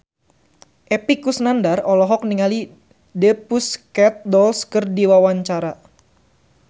Epy Kusnandar olohok ningali The Pussycat Dolls keur diwawancara